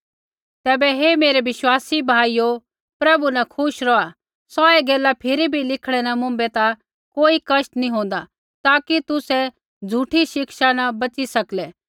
तैबै हे मेरै विश्वासी भाइयो प्रभु न खुश रौहा सोऐ गैला फिरी भी लिखणै न मुँभै ता कोई कष्ट नैंई होन्दा ताकि तुसै झ़ूठै शिक्षा न बची सकलै